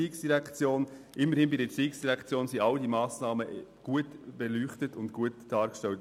Wenigstens bei der ERZ sind alle diese Massnahmen gut beleuchtet und dargestellt.